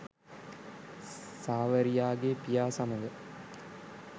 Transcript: සාවරියාගේ පියා සමඟ